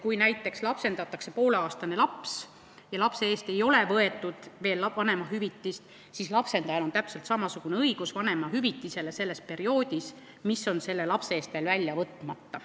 Kui näiteks lapsendatakse pooleaastane laps ja lapse eest ei ole võetud veel vanemahüvitist, siis on lapsendajal täpselt samasugune õigus saada vanemahüvitist perioodi jooksul, mil selle lapse eest on hüvitis välja võtmata.